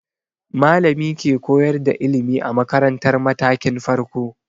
Malami ke koyar da ilimi a makaratar matakin farko.